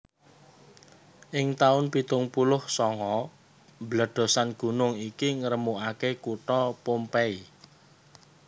Ing taun pitung puluh sanga bledhosan gunung iki ngremukake kutha Pompeii